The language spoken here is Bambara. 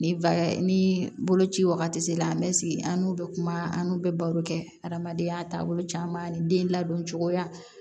Ni boloci wagati sera an bɛ sigi an n'u bɛ kuma an n'u bɛ baro kɛ adamadenya taabolo caman ani den ladon cogoya